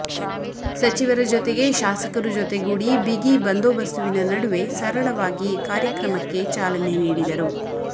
ಸಚಿವರ ಜೊತೆಗೆ ಶಾಸಕರು ಜೊತೆಗೂಡಿ ಬಿಗಿಬಂದೊಬಸ್ತುವಿನ ನಡುವೆ ಸರಳವಾಗಿ ಕಾರ್ಯಕ್ರಮಕ್ಕೆ ಚಾಲನೆ ನೀಡಿದರು